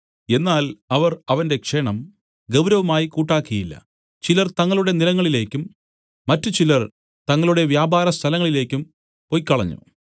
എന്നാൽ അവർ അവന്റെ ക്ഷണം ഗൗരവമായി കൂട്ടാക്കിയില്ല ചിലർ തങ്ങളുടെ നിലങ്ങളിലേക്കും മറ്റുചിലർ തങ്ങളുടെ വ്യാപാരസ്ഥലങ്ങളിലേയ്ക്കും പൊയ്ക്കളഞ്ഞു